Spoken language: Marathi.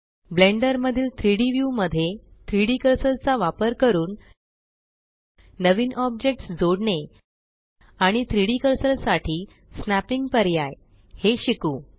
ब्लेण्डर मधील3D व्यू मध्ये 3Dकर्सर चा वापर करून नवीन ऑब्जेक्ट्स जोडणे आणि 3डी कर्सर साठी स्नॅपिंग पर्याय हे शिकू